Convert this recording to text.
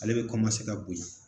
Ale be ka bonya